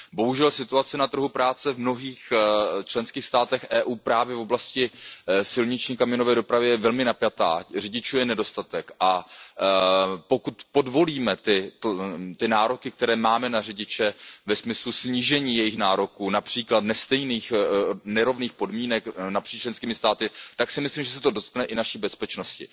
Bohužel situace na trhu práce v mnohých členských státech Evropské unie právě v oblasti silniční kamionové dopravy je velmi napjatá, řidičů je nedostatek, a pokud podvolíme ty nároky, které máme na řidiče, ve smyslu snížení těchto nároků, například nestejných, nerovných podmínek napříč členskými státy, tak si myslím, že se to dotkne i naší bezpečnosti.